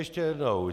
Ještě jednou.